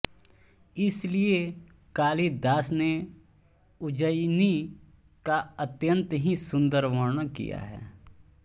इसीलिये कालिदास ने उज्जयिनी का अत्यंत ही सुंदर वर्णन किया है